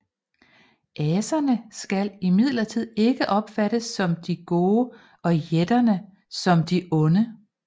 Aserne skal imidlertid ikke opfattes som de gode og jætterne som de onde